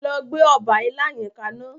Lọ gbé ọba ilá yẹn kaná.